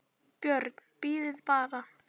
BJÖRN: Bíðið bara!